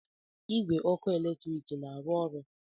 Igwe ọkụ eletrik na-arụ ọrụ?